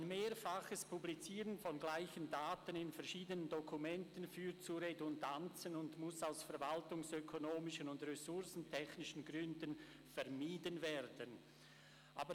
«Ein mehrfaches Publizieren von gleichen Daten in verschiedenen Dokumenten führt zu Redundanzen und muss aus verwaltungsökonomischen und ressourcentechnischen Gründen vermieden werden.»